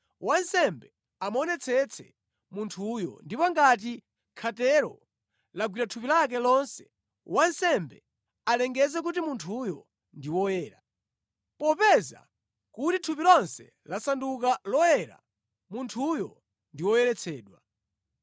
wansembe amuonetsetse munthuyo, ndipo ngati khatero lagwira thupi lake lonse, wansembe alengeze kuti munthuyo ndi woyera. Popeza kuti thupi lonse lasanduka loyera, munthuyo ndi woyeretsedwa.